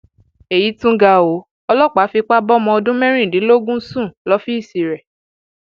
èyí tún ga ọ ọlọpàá fipá bọmọ ọdún mẹrìndínlógún sùn lọfíìsì rẹ